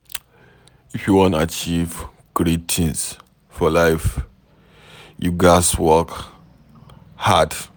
If you wan achieve great things for life, you ghas work hard